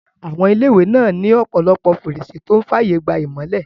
Àwọn ilé-ìwé náà ní ọ̀pọ̀lọpọ̀ fèrèsé tó n fààyè gba ìmọ́lẹ̀